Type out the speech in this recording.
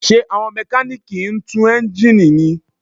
Ṣé àwọn Mẹkáníìkì ń tú eńjíìnì ni?